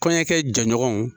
Kɔɲɔnkɛ jɛɲɔgɔnw.